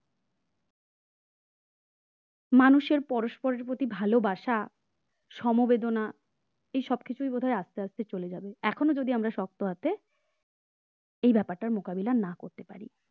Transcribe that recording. মানুষের পরস্পরের প্রতি ভালোবাসা সমবেদনা এসব কিছুই বোধহয় আস্তে আস্তে চলে যাবে। এখনো যদি আমরা শক্ত হাতে এই ব্যাপারটার মোকাবিলা করতে না পারি